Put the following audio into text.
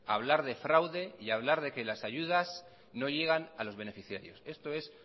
hablar de fraude y hablar de que las ayudas no llegan a los beneficiarios esto es